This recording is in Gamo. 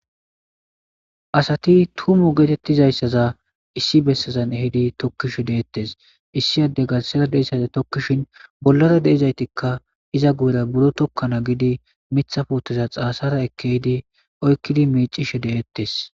Asati tumo geetettizayssaza issi bessezan ehidi tokkishe deettes issi adde garssera dizay tokkishin bollara de'izaytikka iza guyera buro tokkana giidi miththa puuteza xaasara ekkidi yiidi oykkidi miiccishe de'ettes.